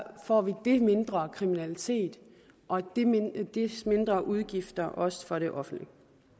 får vi det mindre kriminalitet og mindre udgifter også for det offentlige